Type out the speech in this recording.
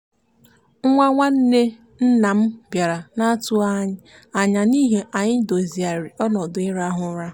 nwa nwanne nna m bịara n'atụghị anya n'ihi ya anyị dozighari ọnọdụ ịrahụ ụra.